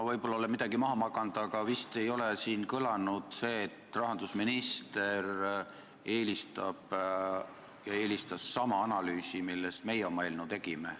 Ma olen võib-olla midagi maha maganud, aga siin vist ei ole kõlanud see, et rahandusminister eelistas sama analüüsi, mille põhjal meie oma eelnõu tegime.